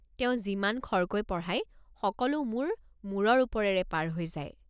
তেওঁ যিমান খৰকৈ পঢ়ায়, সকলো মোৰ মূৰৰ ওপৰেৰে পাৰ হৈ যায়।